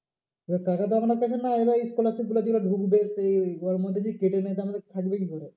এবার টাকাটা এবার এই scholarship গুলো যেগুলো ঢুকবে সেই ওর মধ্যে যদি কেটে নেয় তা আমাদের থাকবে কি করে?